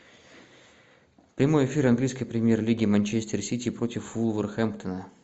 прямой эфир английской премьер лиги манчестер сити против вулверхэмптона